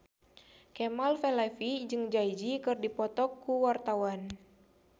Kemal Palevi jeung Jay Z keur dipoto ku wartawan